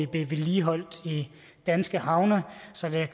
blive vedligeholdt i danske havne så